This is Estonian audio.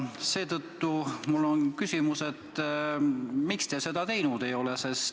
Seetõttu mul on küsimus, miks te seda teinud ei ole.